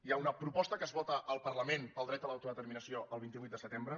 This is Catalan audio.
hi ha una proposta que es vota al parlament pel dret a l’autodeterminació el vint vuit de setembre